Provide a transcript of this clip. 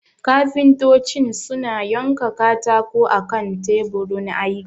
kafintocin suna yanka katako akan taburin aiki